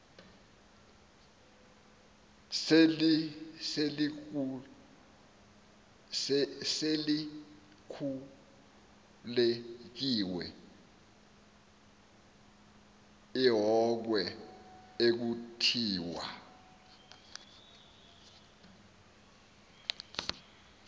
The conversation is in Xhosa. selikhulekiwe ilhokhwe ekuthiwa